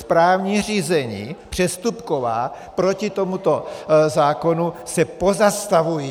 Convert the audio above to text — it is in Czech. správní řízení přestupková proti tomuto zákonu se pozastavují.